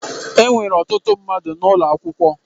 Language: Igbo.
Enwere ọtụtụ mmadụ n'ụlọ akwụkwọ